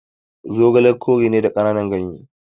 Zogale kore ne da kananan gyanye